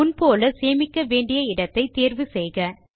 முன் போல சேமிக்க வேண்டிய இடத்தை தேர்வு செய்க